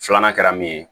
Filanan kɛra min ye